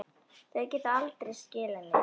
Þau geta aldrei skilið mig.